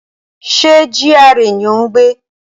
Ṣé GRA ni o n gbé?